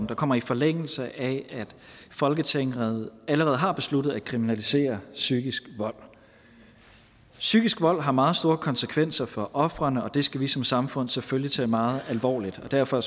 der kommer i forlængelse af at folketinget allerede har besluttet at kriminalisere psykisk vold psykisk vold har meget store konsekvenser for ofrene og det skal vi som samfund selvfølgelig tage meget alvorligt derfor